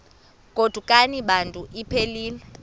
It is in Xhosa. godukani bantu iphelil